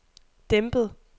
dæmpet